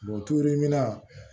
Buturu min na